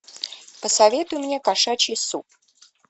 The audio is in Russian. посоветуй мне кошачий суп